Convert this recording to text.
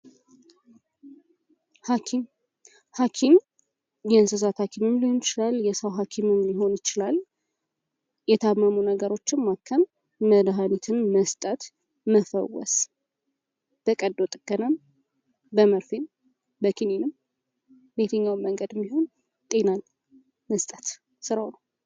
ሀኪም፤ ሀኪም የእንስሳት ሀኪም ሊሆንም ይችላል የሰው ሀኪምም ሊሆኑ ይችላል የታመሙ ነገሮችን ማከም መድሀኒትን መስጠት መፈወስ በቀዶ ጥገናም በመርፌም በኪኒኒም በየትኛውም መንገድም ቢሆን ጤናን መስጠት ስራው ነው።